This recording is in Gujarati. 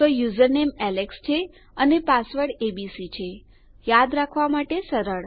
તો યુઝરનેમ એલેક્સ છે અને પાસવર્ડ એબીસી છે યાદ રાખવા માટે સરળ